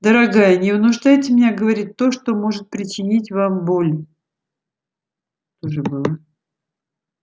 дорогая не вынуждайте меня говорить то что может причинить вам боль